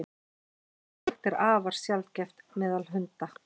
slíkt er afar sjaldgæft meðal hunda